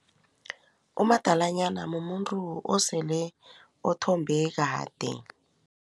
Umadalanyana mumuntu osele othombe kade.